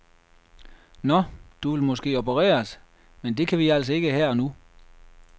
Nå, du vil måske opereres, men det kan vi altså ikke her og nu.